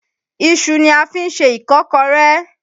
Iṣu ni a fi ń ṣe ìkọ́kọré.